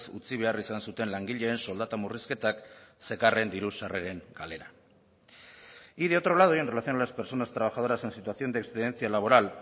utzi behar izan zuten langileen soldata murrizketak zekarren diru sarreren galera y de otro lado y en relación a las personas trabajadoras en situación de excedencia laboral